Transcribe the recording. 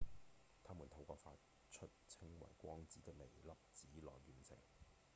他們透過發出稱為「光子」的微粒子來完成